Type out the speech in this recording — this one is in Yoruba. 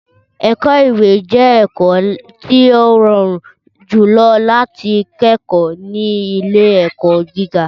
Ẹ̀kọ́-ìwé jẹ́ ẹ̀kọ́ tí ó rọrùn jùlọ láti kẹ́kọ̀ọ́ ní ilé-ẹ̀kọ́ gíga.